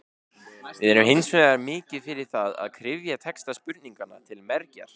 Við erum hins vegar mikið fyrir það að kryfja texta spurninganna til mergjar.